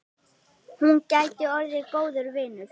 Hún gæti orðið góður vinur.